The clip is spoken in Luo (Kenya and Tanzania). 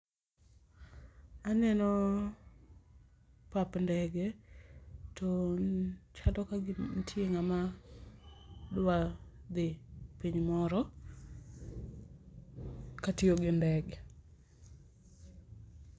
Aneno pap ndege to chalo kagima nitie ng'ama dwa dhi piny moro katiyo gi ndege